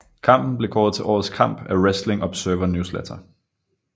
Kampen blev kåret til årets kamp af Wrestling Observer Newsletter